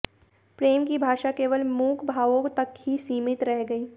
प्रेम की भाषा केवल मूक भावों तक ही सीमित रह गई